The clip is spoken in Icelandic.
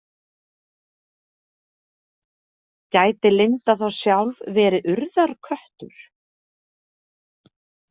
Gæti Linda þá sjálf verið Urðarköttur?